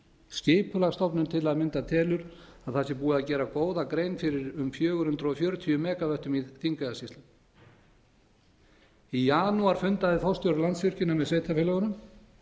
skipulagsstofnun til að mynda telur að það sé búið að gera góða grein fyrir um fjögur hundruð fjörutíu mega vöttum í þingeyjarsýslum þar fundaði forstjóri landsvirkjunar með sveitarfélögunum